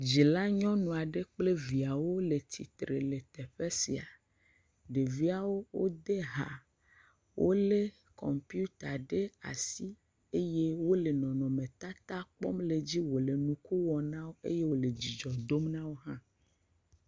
Dzila nyɔnu aɖe kple viawo le ysitre le teƒe sia, ɖeviawo, wode ha, wolé kɔmpiuta ɖe asi eye wole nɔnɔmetata kpɔm le dzi, wòle nuku wɔm na wo eye wòle dzidzɔ dom na wo hã.